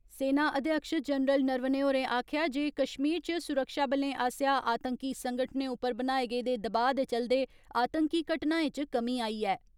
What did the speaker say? सेना अध्यक्ष जनरल नारवणे होरें आक्खेआ जे कश्मीर च सुरक्षाबलें आस्सेआ आतंकी संगठनें उप्पर बनाए गेदे दबाऽ दे चलदे, आतंकी घटनायें च कमी आई ऐ।